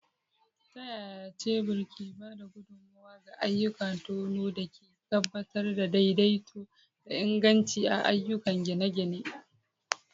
Ta yaya shebur ke ba da gudummawa ga ayyukan tono da ke tabbatar da daidaito da inganci a ayyukan gine-gine?